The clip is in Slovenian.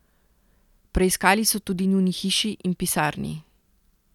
Preiskali so tudi njuni hiši in pisarni.